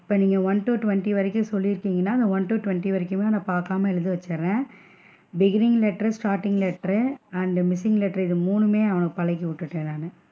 இப்போ நீங்க one to twenty வரைக்கும் சொல்லி இருக்கிங்கனா, அந்த one to twenty வரைக்குமே அவன பாக்காம எழுத வச்சிடுறேன் beginning letter starting letter ரு and missing letter இது மூணுமே அவனுக்கு பழக்கி விட்டுட்டேன் நானு.